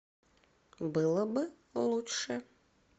было бы лучше